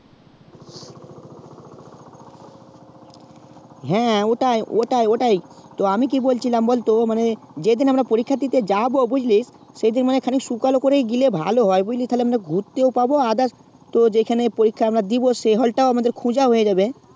হ্যাঁ ওটা ওটা ওটাই তো আমি কি বলছিলাম মানে যেদিন আমরা পরীক্ষা দিতে যাবো বুঝলি সেদিন মানে শুকালো করে গেলেই ভালো হয় বুঝলি তাহলে ঘুরতে পাবো others তো যেখানে পরীক্ষা আমরা দেব সেই hall তাও আমাদের খোজা হয়ে যাবো